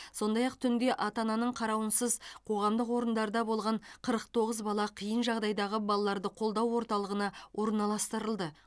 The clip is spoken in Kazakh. сондай ақ түнде ата ананың қарауынсыз қоғамдық орындарда болған қырық тоғыз бала қиын жағдайдағы балаларды қолдау орталығына орналастырылды